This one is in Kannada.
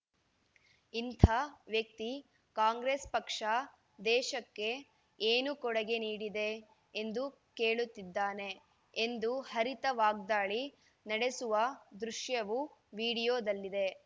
ಇಂಥ ವ್ಯಕ್ತಿ ಕಾಂಗ್ರೆಸ್‌ ಪಕ್ಷ ದೇಶಕ್ಕೆ ಏನು ಕೊಡಗೆ ನೀಡಿದೆ ಎಂದು ಕೇಳುತ್ತಿದ್ದಾನೆ ಎಂದು ಹರಿತ ವಾಗ್ದಾಳಿ ನಡೆಸುವ ದೃಶ್ಯವು ವಿಡಿಯೋದಲ್ಲಿದೆ